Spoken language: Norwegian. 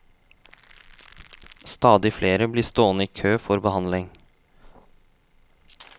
Stadig flere blir stående i kø for behandling.